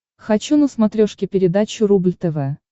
хочу на смотрешке передачу рубль тв